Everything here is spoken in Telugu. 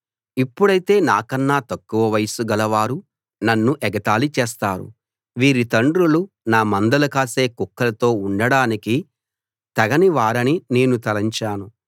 ఇప్పుడైతే నాకన్న తక్కువ వయస్సు గలవారు నన్ను ఎగతాళి చేస్తారు వీరి తండ్రులు నా మందలు కాసే కుక్కలతో ఉండడానికి తగని వారని నేను తలంచాను